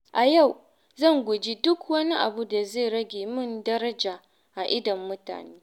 A yau, zan guji duk wani abu da zai rage min daraja a idon mutane.